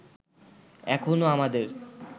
এখনো আমাদের